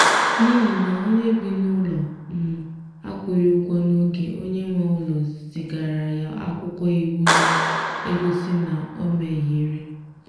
n'ihi na onye bi n'ụlọ um akwụghị ụgwọ n'oge onye nwe ụlọ zigara ya akwụkwọ iwu na-egosi na o mehiere.